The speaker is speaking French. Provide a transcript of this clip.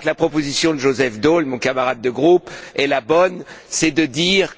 Je crois que la proposition de Joseph Daul, mon camarade de groupe, est la bonne, à savoir